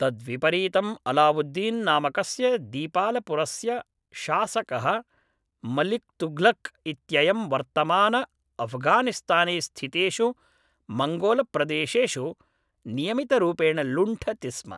तद्विपरीतम् अलावुद्दीन् नामकस्य दीपालपुरस्य शासकः मलिक्तुघ्लक् इत्ययं वर्तमानअफ़्घानिस्ताने स्थितेषु मङ्गोलप्रदेशेषु नियमितरूपेण लुण्ठति स्म